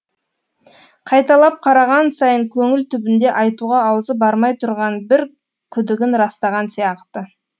қайталап қараған сайын көңіл түбінде айтуға аузы бармай тұрған бір күдігін растаған сияқты